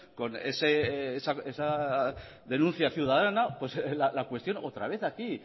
con esas denuncias ciudadanas la cuestión otra vez aquí